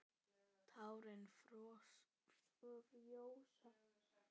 Tárin frjósa.